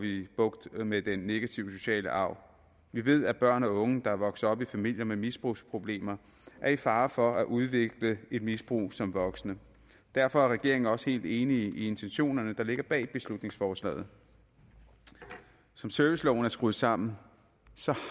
bugt med den negative sociale arv vi ved at børn og unge der vokser op i familier med misbrugsproblemer er i fare for at udvikle et misbrug som voksne derfor er regeringen også helt enig i intentionerne der ligger bag beslutningsforslaget som serviceloven er skruet sammen så